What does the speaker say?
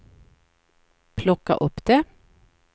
plocka upp det